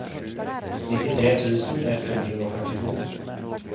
nittitre tusen ett hundre og førtito